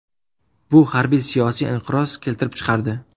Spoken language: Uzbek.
Bu harbiy-siyosiy inqiroz keltirib chiqardi.